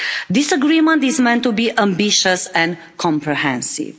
This agreement is meant to be ambitious and comprehensive.